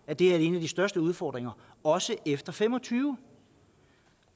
at det er en af de største udfordringer også efter fem og tyve